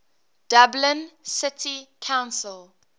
dublin city council